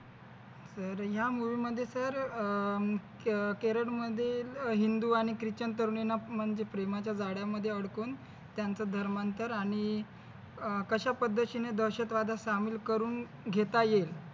तर या mood मध्ये तर अह मुख्य केरळ मध्ये अह हिंदू आणि ख्रिश्चन तरुणींना म्हणजे प्रेमाच्या जाळ्यामध्ये अडकून त्यांचं धर्मांतर आणि कश्या पद्धतीने दहशत वादात सामील करून घेता येईल